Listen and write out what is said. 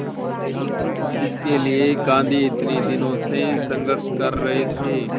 जिसके लिए गांधी इतने दिनों से संघर्ष कर रहे थे